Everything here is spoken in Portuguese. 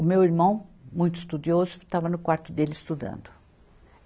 O meu irmão, muito estudioso, estava no quarto dele estudando.